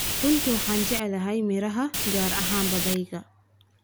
Runtii waxaan jeclahay miraha, gaar ahaan babaayga.